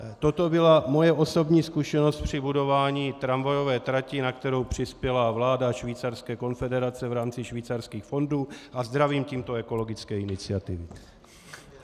Toto byla moje osobní zkušenost při budování tramvajové trati, na kterou přispěla vláda Švýcarské konfederace v rámci Švýcarských fondů, a zdravím tímto Ekologickou iniciativu.